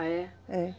Ah, é? É.